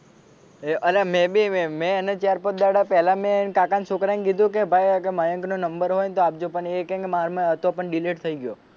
એ અરે મેં બી મેં એને ચાર પાંચ દહાડા પેલા મેં એના કાકા ના છોકરા ને કીધું ભાઈ મયંક નો નંબર હોય ને તો આપજો પણ એ કે માર પાસે હતો પણ delete થઈ ગયો.